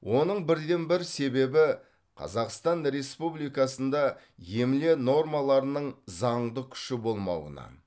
оның бірден бір себебі қазақстан республикасында емле нормаларының заңдық күші болмауынан